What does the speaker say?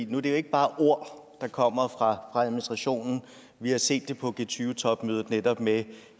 nu er det jo ikke bare ord der kommer fra administrationen vi har set det på g20 topmødet netop at